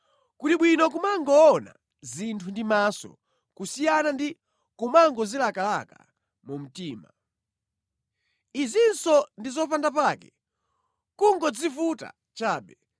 Kuli bwino kumangoona zinthu ndi maso kusiyana ndi kumangozilakalaka mu mtima. Izinso ndi zopandapake, nʼkungodzivuta chabe.